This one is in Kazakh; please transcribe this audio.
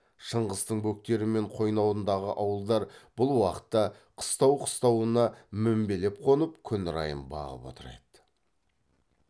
шыңғыстың бөктері мен қойнауындағы ауылдар бұл уақытта қыстау қыстауына мінбелеп қонып күн райын бағып отыр еді